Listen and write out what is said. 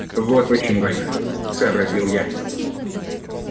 вот почему война сообразил я